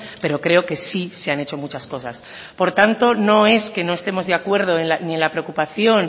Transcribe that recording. pero creo que sí se han hecho muchas cosas por tanto no es que no estemos de acuerdo ni en la preocupación